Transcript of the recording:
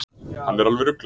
Hann er alveg ruglaður.